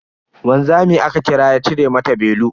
Wanzami aka kira ya cire mata belu.